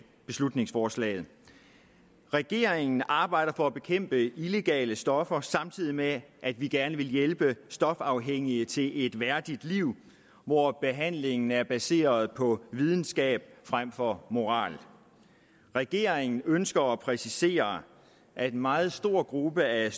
beslutningsforslaget regeringen arbejder for at bekæmpe illegale stoffer samtidig med at vi gerne vil hjælpe stofafhængige til et værdigt liv hvor behandlingen er baseret på videnskab frem for moral regeringen ønsker at præcisere at en meget stor gruppe af